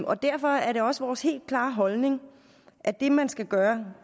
og derfor er det også vores helt klare holdning at det man skal gøre